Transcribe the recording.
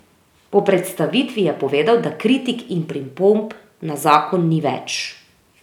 Po predstavitvi je povedal, da kritik in pripomb na zakon ni več.